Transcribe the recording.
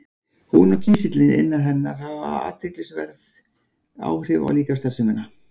Hún og kísillinn innan hennar hafa athyglisverð áhrif á líkamsstarfsemina.